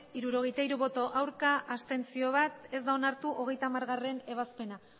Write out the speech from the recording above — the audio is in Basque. hirurogeita hiru ez bat abstentzio ez da onartu hogeita hamargarrena